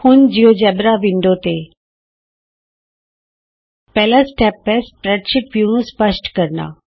ਹੁਣ GeoGebra window ਤੇ ਪਹਿਲਾ ਸਟੇਪ ਹੈ ਸਪਰੈਡਸ਼ੀਟ ਵਿਊ ਨੂੰ ਸਪਸ਼ਟ ਕਰਨਾ